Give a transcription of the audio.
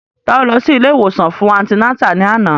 Ta ló lọ sí ilé ìwòsàn fún antinátà ní àná?